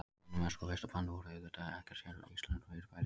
Vinnumennska og vistarband voru auðvitað ekkert séríslenskt fyrirbæri.